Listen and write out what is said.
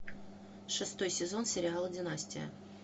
шестой сезон сериала династия